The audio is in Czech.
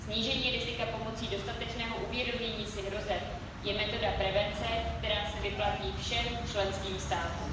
Snížení rizika pomocí dostatečného uvědomění si hrozeb je metoda prevence, která se vyplatí všem členským státům.